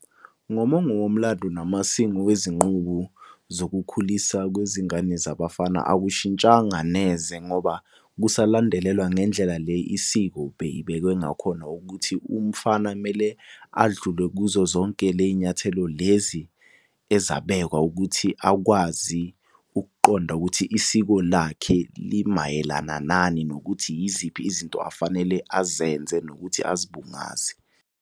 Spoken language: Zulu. Ngomongo womlando namasiko wezinqubo zokukhulisa kwezingane zabafana, akushintshanga neze ngoba kusalandelelwa ngendlela le isiko beyibekwe ngakhona. Ukuthi umfana kumele adlule kuzo zonke ley'nyathelo lezi ezabekwa ukuthi akwazi ukuqonda ukuthi isiko lakhe limayelana nani. Nokuthi yiziphi izinto afanele azenze nokuthi azibungaze.